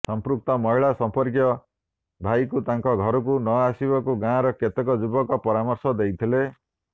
ସଂପୃକ୍ତ ମହିଳାଙ୍କ ସମ୍ପର୍କୀୟ ଭାଇକୁ ତାଙ୍କ ଘରକୁ ନଆସିବାକୁ ଗାଁର କେତେକ ଯୁବକ ପରାମର୍ଶ ଦେଇଥିଲେ